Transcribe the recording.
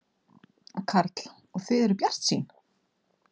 Karl: Og þið eruð bjartsýn?